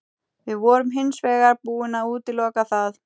Við vorum hins vegar búin að útiloka það.